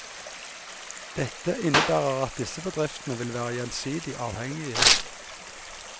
Dette innebærer at disse bedriftene vil være gjensidige avhengige.